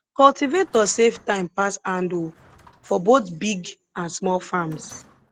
cultivator save time pass handhoe for both big and small farms